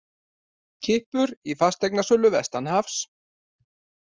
Kippur í fasteignasölu vestanhafs